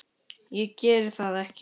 Ég geri það ekki!